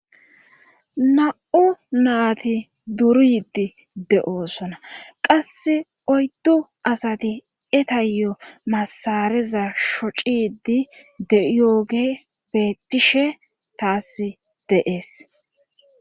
Na'o naati duryidi de'oosona qasse oyddo asati etayyo masareza shocidi deiyooge bettishe taass deees.